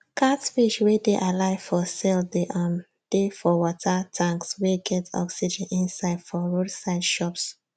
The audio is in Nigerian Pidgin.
catfish wey dey alive for sale dey um dey for water tanks wey get oxygen inside for road side shops